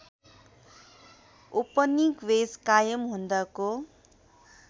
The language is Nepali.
उपनिवेश कायम हुँदाको